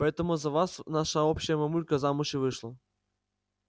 поэтому за вас наша общая мамулька замуж и вышла